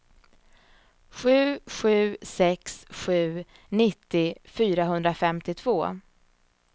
sju sju sex sju nittio fyrahundrafemtiotvå